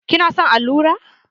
Ki na son allura?